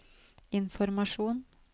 informasjon